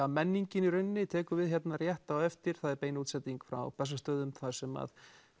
menningin í rauninni tekur við hérna rétt á eftir það er bein útsending frá Bessastöðum þar sem